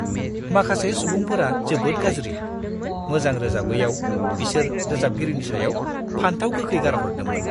माखासे सुबुंफोरा जोबोद गाज्रि! मोजां रोजाबैआव बिसोर रोजाबगिरिनि सायाव फानथाव गोखै गारहरदोंमोन!